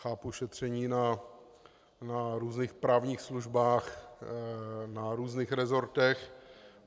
Chápu šetření na různých právních službách, na různých resortech.